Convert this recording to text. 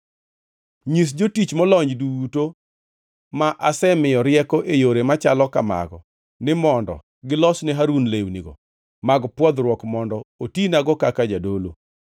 Nyis jotich molony duto ma asemiyo rieko e yore machalo kamago ni mondo gilos ne Harun lewnigo mag pwodhruok mondo otinago kaka jadolo.